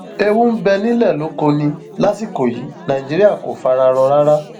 ewu ńbẹ nílẹ lóko ni lásìkò yìí nàìjíríà kò fara rọ rárá